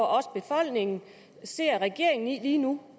også befolkningen ser regeringen i lige nu